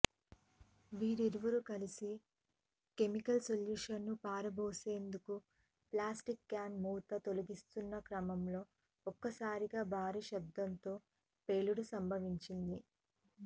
వీరిరువురూ కలసి కెమికల్ సొల్యూషన్ను పారబోసేందుకు ప్లాస్టిక్ క్యాన్ మూత తొలగిస్తున్న క్రమంలో ఒక్కసారిగా భారీ శబ్దంతో పేలుడు సంభవించింది